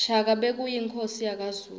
shaka bekuyinkhosi yakazulu